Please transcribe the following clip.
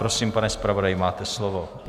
Prosím, pane zpravodaji, máte slovo.